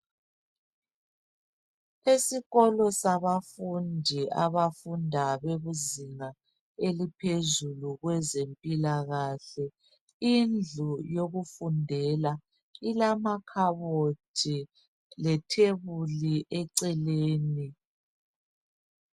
Esikolo sabafundi abafunda izinga eliphezulu kwezempilakahle, indlu yokufundela ilamakhabothi lethebuli eceleni.